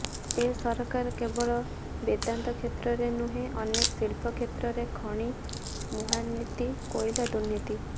ଏ ସରକାର କେବଳ ବେଦାନ୍ତ କ୍ଷେତ୍ରରେ ନୁହେଁ ଅନେକ ଶିଳ୍ପ କ୍ଷେତ୍ରରେ ଖଣି ମହାୁର୍ନୀତି କୋଇଲା ଦୁର୍ନୀତି